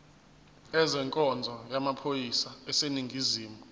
ezenkonzo yamaphoyisa aseningizimu